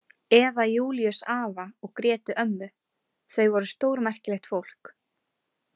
Eða Júlíus afa og Grétu ömmu, þau voru stórmerkilegt fólk.